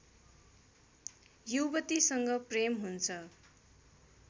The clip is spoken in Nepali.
युवतीसँग प्रेम हुन्छ